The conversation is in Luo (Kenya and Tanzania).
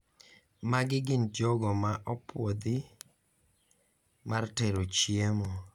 Magi gin jogo ma opuodhi mar tero chiemo